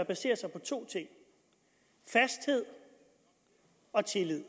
basere sig på to ting fasthed og tillid